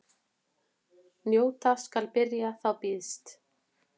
Njóta skal byrjar þá býðst.